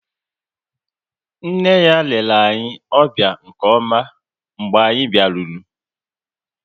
Nne ya lere anyị ọbịa nke ọma mgbe anyị biaruru